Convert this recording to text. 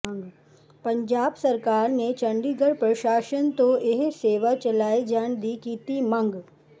ਪੰਜਾਬ ਸਰਕਾਰ ਨੇ ਚੰਡੀਗੜ੍ਹ ਪ੍ਰਸ਼ਾਸਨ ਤੋਂ ਇਹ ਸੇਵਾ ਚਲਾਏ ਜਾਣ ਦੀ ਕੀਤੀ ਮੰਗ